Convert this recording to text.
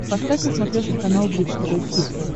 поставь на смотрешке канал бридж тв хитс